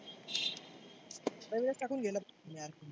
नविनच टाकुन घेना.